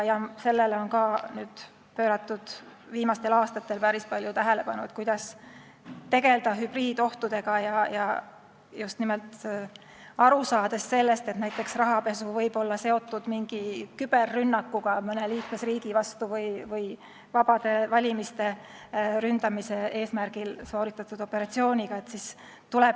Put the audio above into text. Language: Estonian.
Viimastel aastatel on päris palju tähelepanu pööratud ka sellele, kuidas tegelda hübriidohtudega, just nimelt aru saades sellest, et näiteks rahapesu võib olla seotud küberrünnakuga mõne liikmesriigi vastu või vabade valimiste ründamise eesmärgil sooritatud operatsiooniga.